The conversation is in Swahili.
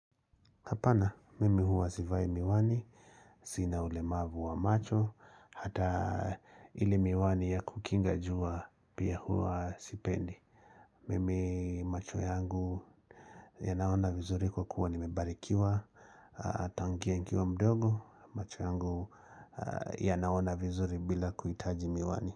Hapana, mimi huwa sivai miwani, sina ulemavu wa macho, hata ile miwani ya kukinga jua pia huwa sipendi. Mimi macho yangu yanaona vizuri kwa kuwa nimebarikiwa, tangia nikiwa mdogo, macho yangu yanaona vizuri bila kuhitaji miwani.